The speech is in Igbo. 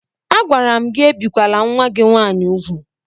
Agwara m gị ebikwele nwa gị nwaanyị úgwù!